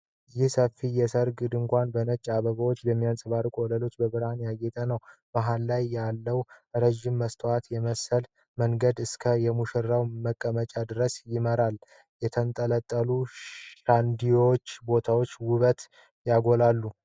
ይህ ሰፊ የሠርግ ድንኳን በነጭ አበባዎች፣ በሚያንጸባርቅ ወለልና በብርሃን ያጌጠ ነው። መሀል ላይ ያለው ረዥም መስታወት የመሰለ መንገድ እስከ የሙሽራ መቀመጫ ድረስ ይመራል። የተንጠለጠሉ ሻንደሊየሮችም የቦታውን ውበት ያጎላሉ።